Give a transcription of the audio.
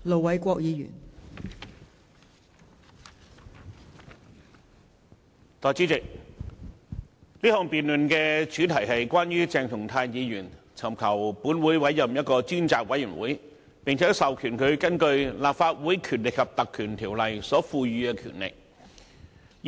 代理主席，這項議案的主題是關於鄭松泰議員尋求本會委任一個專責委員會，並且授權這個專責委員會根據《立法會條例》所賦予的權力，